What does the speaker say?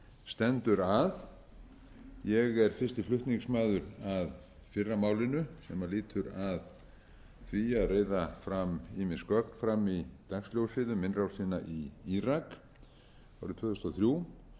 stendur að ég er fyrsti flutningsmaður að fyrra málinu sem lýtur að því að reiða ýmis gögn fram í dagsljósið um innrásin í írak árið tvö þúsund og þrjú